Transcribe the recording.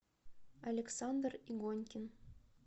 александр игонькин